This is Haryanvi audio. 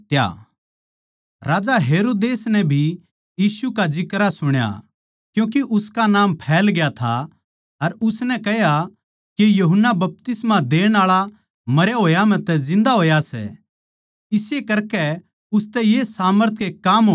राजा हेरोदेस नै भी यीशु का जिक्रा सुण्या क्यूँके उसका नाम फैल ग्या था अर उसनै कह्या के यूहन्ना बपतिस्मा देण आळा मरया होया म्ह तै जिन्दा होया सै इस्से करकै उसतै ये सामर्थ के काम होवै सै